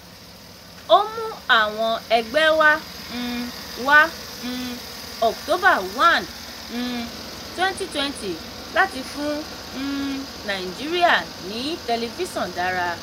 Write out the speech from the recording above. ó mú àwọn ẹgbẹ́ wá um wá um october one um twenty twenty láti fún um nàìjíríà ní tẹlifíṣọ̀n dára.